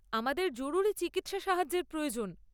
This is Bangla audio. আমাদের জরুরী চিকিৎসা সাহায্যের প্রয়োজন।